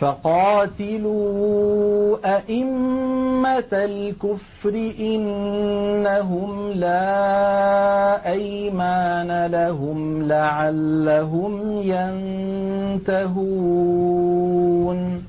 فَقَاتِلُوا أَئِمَّةَ الْكُفْرِ ۙ إِنَّهُمْ لَا أَيْمَانَ لَهُمْ لَعَلَّهُمْ يَنتَهُونَ